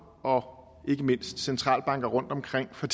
og ikke mindst centralbanker rundtomkring for